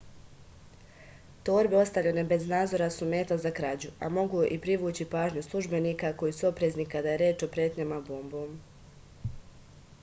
torbe ostavljene bez nadzora su meta za krađu a mogu i privući pažnju službenika koji su oprezni kada je reč o pretnjama bombom